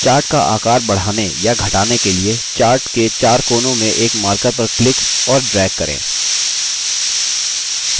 chart का आकार बढ़ाने या घटाने के लिए chart के chart कोनों में एक markers पर click और drag करें